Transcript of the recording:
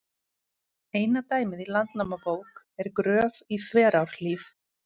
Eina dæmið í Landnámabók er Gröf í Þverárhlíð.